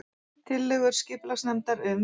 Tillögur skipulagsnefndar um